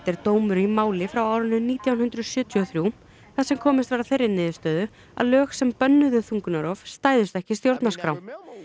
er dómur í máli frá árinu nítján hundruð sjötíu og þrjú þar sem komist var að þeirri niðurstöðu að lög sem bönnuðu þungunarrof stæðust ekki stjórnarskrá